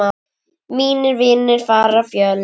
Mínir vinir fara fjöld.